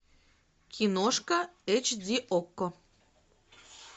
киношка эйч ди окко